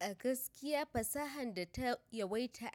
A gaskiya fasahar data yawaita